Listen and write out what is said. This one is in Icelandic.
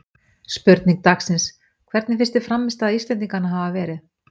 Spurning dagsins: Hvernig finnst þér frammistaða Íslendinganna hafa verið?